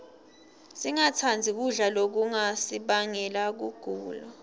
singatsandzi kudla lokungasibangela kugula